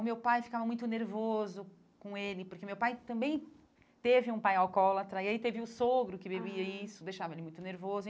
O meu pai ficava muito nervoso com ele, porque meu pai também teve um pai alcoólatra, e aí teve o sogro que bebia isso, deixava ele muito nervoso.